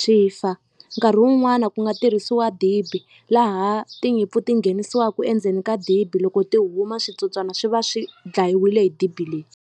swi fa nkarhi wun'wana ku nga tirhisiwa dibi laha tinyimpfu ti nghenisiwaku endzeni ka dibi loko ti huma switsotswana swi va swi dlayiwile hi dibi leyi.